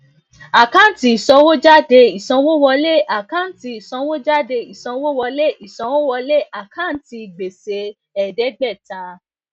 jumia fi jumia fi tanzania um sílẹ ọjọ um mẹwàá lẹyìn tó kúrò ní cameroon um